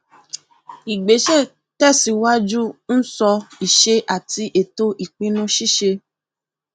ìgbésẹ tẹsíwájú ń sọ ìṣe àti ètò ìpinnu ṣíṣe